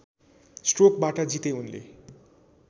स्ट्रोकबाट जिते उनले